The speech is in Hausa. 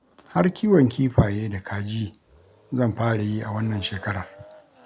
Har kiwon kifaye da kaji zan fara yi a wannan shekarar